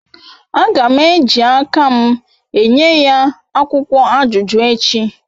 Agam eji akam enyeya akwukwo ajuju echi